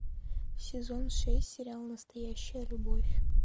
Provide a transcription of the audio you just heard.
сезон шесть сериал настоящая любовь